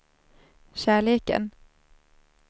kärleken